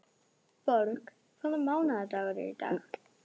Borg, hvaða mánaðardagur er í dag?